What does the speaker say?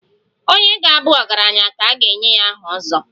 Onye ga-abu ọgaranya ka e nye ya aha 'ozo'.